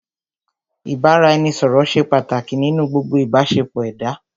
Ìbáraẹnisọ̀rọ̀ ṣé pàtàkì nínú gbogbo ìbáṣepọ̀ ẹ̀dá.